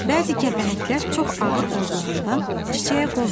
Bəzi kəpənəklər çox ağır olduğundan çiçəyə qonmur.